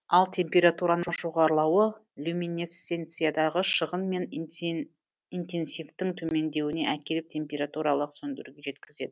ал температураның жоғарылауы люминесценциядағы шығын мен интенсивтіктің төмендеуіне әкеліп температуралық сөндіруге жеткізеді